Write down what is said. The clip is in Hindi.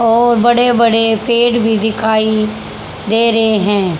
और बड़े बड़े पेड़ भी दिखाई दे रहे हैं।